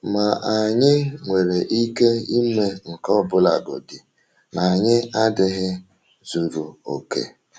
Ma um anyị nwere um ike ime nke a ọbụlagodi na anyị adịghị zuru oke.